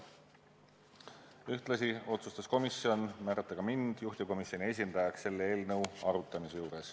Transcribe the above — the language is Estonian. Ühtlasi otsustas komisjon määrata mind juhtivkomisjoni esindajaks selle eelnõu arutamisel.